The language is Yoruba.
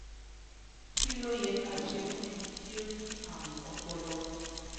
kilo ye ka se fun eni ti o ni arun opolo?